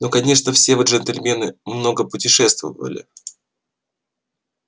ну конечно все вы джентльмены много путешествовали